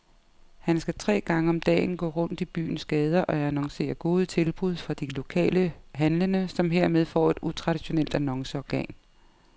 Han skal tre gange om dagen gå rundt i byens gader og annoncere gode tilbud fra de lokale handlende, som hermed får et utraditionelt annonceorgan.